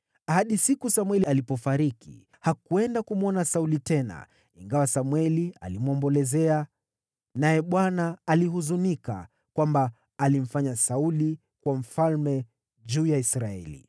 Hadi siku Samweli alipofariki hakwenda kumwona Sauli tena, ingawa Samweli alimwombolezea. Naye Bwana alihuzunika kwamba alimfanya Sauli kuwa mfalme juu ya Israeli.